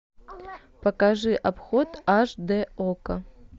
покажи обход аш д окко